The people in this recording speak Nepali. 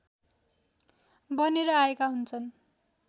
बनेर आएका हुन्छन्